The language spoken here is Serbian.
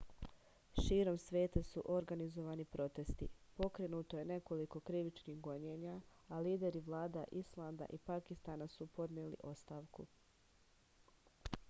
širom sveta su organizovani protesti pokrenuto je nekoliko krivičnih gonjenja a lideri vlada islanda i pakistana su podneli ostavku